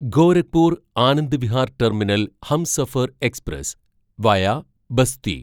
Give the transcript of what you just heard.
Gorakhpur Anand Vihar terminal Humsafar express via Basti